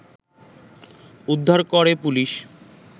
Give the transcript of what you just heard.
উদ্ধার করে পুলিশ